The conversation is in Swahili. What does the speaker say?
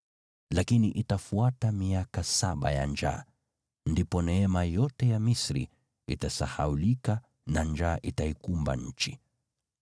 lakini itafuata miaka saba ya njaa. Ndipo neema yote ya Misri itasahaulika na njaa itaikumba nchi.